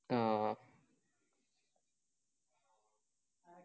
ആ